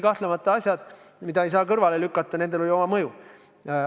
Kahtlemata on need asjad, mida ei saa kõrvale lükata, nendel on olnud oma mõju.